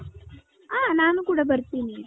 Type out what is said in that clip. ಹ ನಾನು ಕೂಡ ಬರ್ತೀನಿ .